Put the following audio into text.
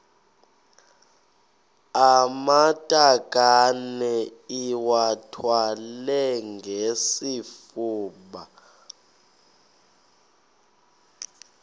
amatakane iwathwale ngesifuba